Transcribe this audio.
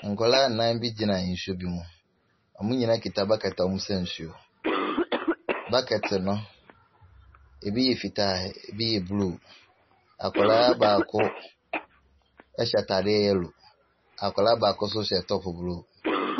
Nkwadaa nnan bi gyina nsuo bi mu. Wɔn nyinaa kita bucket a wɔresa nsuo. Bucket no, ebi yɛ fitaa, ebi yɛ blue. Akwadaa baako hyɛ atade yellow. Akwadaa baako nso hyɛ top blue.